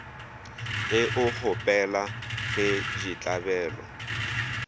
ge o kgopela ge ditlabelo